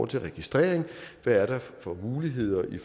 til registrering hvad er der for muligheder i